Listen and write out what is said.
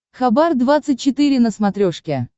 хабар двадцать четыре на смотрешке